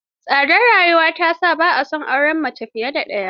Tsadar rayuwa ta sa ba a son auren mace fiye da ɗaya.